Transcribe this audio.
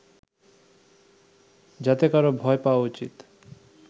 যাতে কারো ভয় পাওয়া উচিত